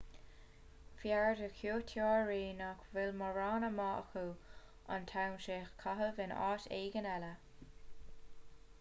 b'fhearr do chuairteoirí nach bhfuil mórán ama acu an t-am sin a chaitheamh in áit éigin eile